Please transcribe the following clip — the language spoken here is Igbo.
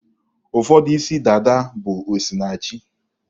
Ụfọdụ isi dada bụ osinachi